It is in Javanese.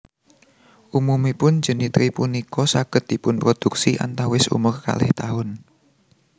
Umumipun jenitri punika saged dipunproduksi antawis umur kalih taun